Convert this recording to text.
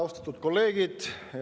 Austatud kolleegid!